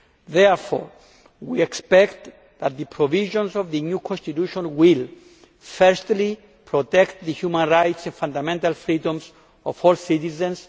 Therefore we expect that the provisions of the new constitution will firstly, protect the human rights and fundamental freedoms of all citizens